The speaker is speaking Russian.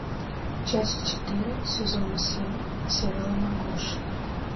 часть четыре сезона семь сериал маргоша